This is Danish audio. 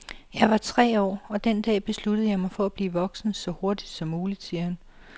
Jeg var tre år og den dag besluttede jeg mig for at blive voksen, så hurtigt som muligt, siger han.